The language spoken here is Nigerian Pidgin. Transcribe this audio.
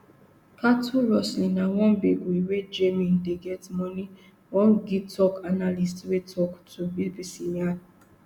cattlerustling na one big way wey jnim dey get money one gitoc analyst wey tok to bbc yarn